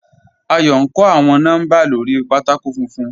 Àyọ̀ n kọ́ awọn nọ́mbà lórí pátákò fúnfún.